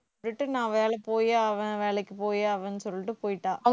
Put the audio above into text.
return நான் வேலைக்கு போயே அவன் வேலைக்கு போயாவேன்னு சொல்லிட்டு போயிட்டா